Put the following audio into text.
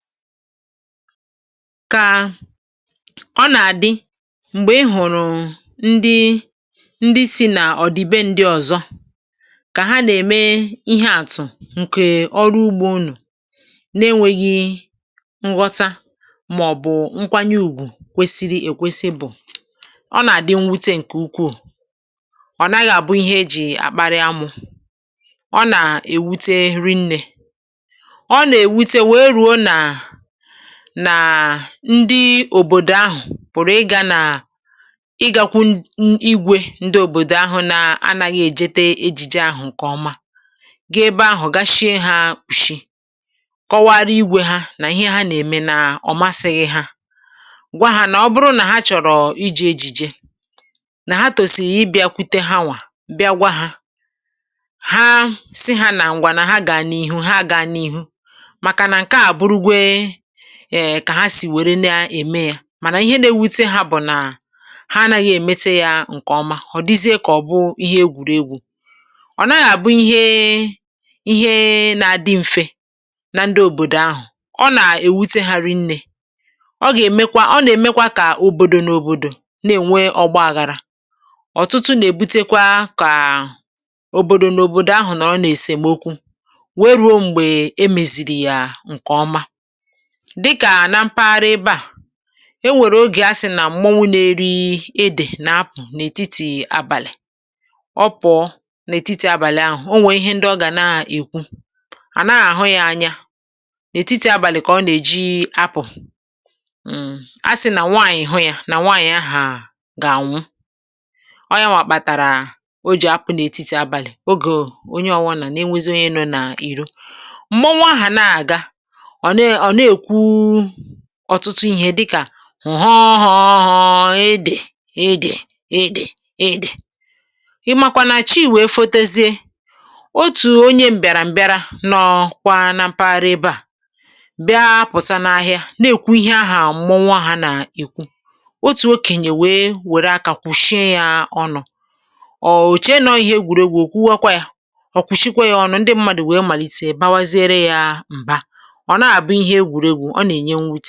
Kà ọ nà-àdị, m̀gbè ị hụ̀rụ̀ ndị, ndị si nà ọ̀ dị be ndị ọ̀zọ kà ha nà-ème ihe àtụ̀ ǹkè ọrụ ugbȯ uno, na-enwėghi nghọta mà ọ̀bụ̀ nkwanye ùgwù kwesiri èkwesi bụ̀, ọ nà-àdị nwute ǹkè ukwuù, ọ̀ naghị àbụ ihe e jì àkpȧrị amu, ọ nà-èwute ri nnė, ọ nà ewute wee ruo na, na ndị òbòdò ahụ̀ pụ̀rụ̀ ị gȧ nà ị gȧkwụ ndi igwė ndị òbòdò ahụ na anaghị èjete ejìje ahụ̀ ǹkè ọma, ga ebe ahụ̀ gashie ha òshi, kọwara igwė ha, nà ihe ha nà-ème nà ọ̀ masịghị ha, gwa ha nà ọ bụrụ nà ha chọ̀rọ̀ iji ejìje nà ha tòsì i bịákwụte ha nwà bịa gwa ha, ha si ha nà ǹgwà na ha ga n'ihu ha gàà n’ìhù màkà nà nka aburugè um kà ha sì wère na-ème yȧ, mà nà ihe na-ewete hȧ bụ̀ nà ha anȧghị èmete yȧ ǹkè ọma, ọ̀ dịzie kà ọ̀ bụ ihe egwùregwu, ọ̀ naghị àbụ ihe, ihe na-adị mfė na ndị òbòdò ahụ̀, ọ nà-èwute hà rị nnė, ọ gà-èmekwa, ọ nà-èmekwa kà òbòdò n’òbòdò na-ènwe ọgbọ àghàrà, ọ̀tụtụ nà-èbutekwa kà òbòdò n’òbòdò ahụ̀ nọ nà-èsèm okwu, wee ruo m̀gbè emèzìrì yà ǹkè ọma. Dịkà à na mpaghara ebe à, enwèrè ogè a sị̀ nà m̀muọnwu neri edè nà apụ̀ n’ètitì abàlị̀, ọ pụ̀ọ n’ètitì abàlị ahụ̀ o nwè ihe ndị ọ gà na-èkwu à nàgh-àhụ ya anya n’ètitì abàlị kà ọ nà-èji apụ̀ um a sị̀ nà nwanyì hụ ya nà nwanyì ahu gà-ànwụ, ọ yanwà kpàtàrà o jì apụ nà etiti abàlị̀ ogè onye ọwụnà nà enwėzi onye nọ nà ìro. Mmụọnwu ahà nà àga, ọ nekwu ọ̀tụtụ ihė dịkà m họọ họọ họọ ede, ede ede, ede, ịmakwa na chi wee fotozie, otù onye m̀bịàrà m̀bịara n’ọ̀kwa na mpaghara ebe à, bịa pụ̀sia n’ahịa na-èkwu ihe ahụ̀ à mmụọnwu hȧ nà èkwu, otù okènyè wee wère akȧ kwụ̀shịa yȧ ọnụ ò chie nọ ihe egwùregwù ò kwuwe kwa ya, kwùshikwa yȧ ọnụ, ndị mmadù wèe màlítè bawazere yȧ m̀ba. ọ naha abu ihe egwuregwu ọ nenye nwute.